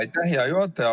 Aitäh, hea juhataja!